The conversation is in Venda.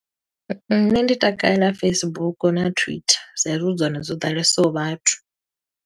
Nṋe ndi takalela Facebook na Twitter, sa i zwi hu dzone dzo ḓalesaho vhathu.